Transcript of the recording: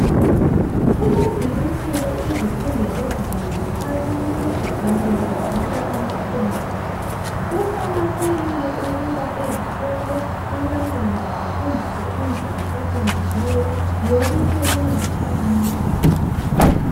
Kulezi insuku izifundo ezinengi abantu basebenzisa amakhompiyutha. Kuqakathekile ukuthi ezikolo abantwana bafundiswe indlela eqondileyo yokusebenzisa amakhompiyutha.